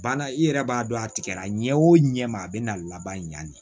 Banna i yɛrɛ b'a dɔn a tigɛra ɲɛ o ɲɛ ma a bɛ na laban ɲani